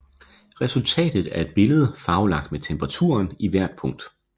Resultatet er et billede farvelagt med temperaturen i hvert punkt